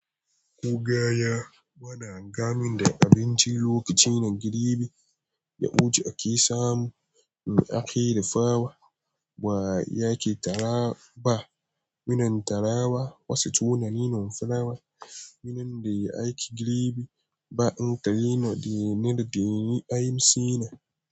Kogaya bana gani da abinci lokaci na gribi, yaɓuji ake samu in ake dafawa ba yake tarawa ba. Minan tarawa wasu tunanin na falawa, minan da ya aiki gribi ba in ta yina de neda de ni ai sina.